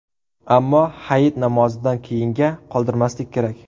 Ammo Hayit namozidan keyinga qoldirmaslik kerak.